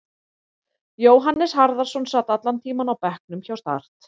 Jóhannes Harðarson sat allan tímann á bekknum hjá Start.